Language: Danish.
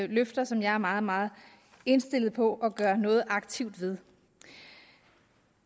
løfter som jeg er meget meget indstillet på at gøre noget aktivt ved